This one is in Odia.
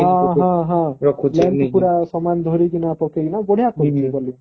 ହଁ ହଁ ହଁ ସମାନ ଧରିକିନା ପକେଇକିନା ବଢିଆ କରୁଛି bowling